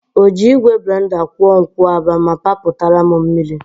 Ọ ji igwe blenda kwụọ nkwụaba ma papụtara m mmiri?